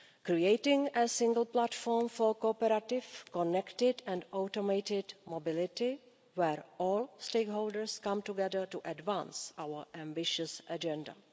Creating a single platform for cooperative, connected and automated mobility where all stakeholders come together to advance our ambitious agenda.